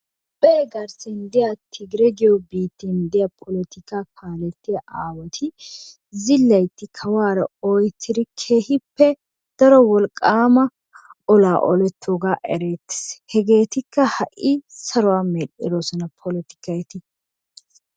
toophe garssen diyaa tigiree giyoo biitten diyaa polotikka aawati zilaytti kawuwaaara ooyettidi keehippe daro wolqqama olaa olettooga erettees. hegeetikka ha'i saruwa medhdhidoosona polotikka eti.